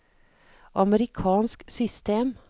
amerikansk system